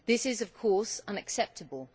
This is, of course, unacceptable.